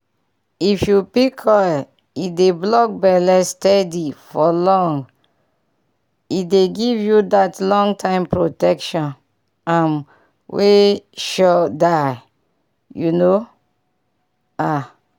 if u pick coil e dey block belle steady for long e dey give you that long time protection um wey sure die you know ah!